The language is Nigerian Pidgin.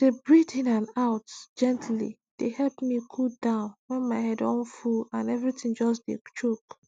to dey breathe in and out gently dey help me cool down when my head don full and everything just dey choke